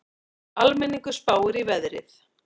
Almenningur spáir í veðrið